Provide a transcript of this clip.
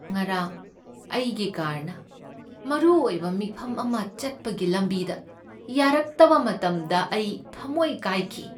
ꯉꯔꯥꯡ ꯑꯩꯒꯤ ꯀꯥꯔꯅ ꯃꯔꯨꯑꯣꯏꯕ ꯃꯤꯐꯝ ꯑꯃ ꯆꯠꯄꯒꯤ ꯂꯝꯕꯤꯗ ꯌꯥꯔꯛꯇꯕ ꯃꯇꯝꯗ ꯑꯩ ꯊꯝꯃꯣꯢ ꯀꯥꯢꯈꯤ꯫